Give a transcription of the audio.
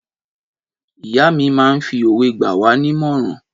Ìyá mi máa ń fi òwe gba wá nímọ̀ràn.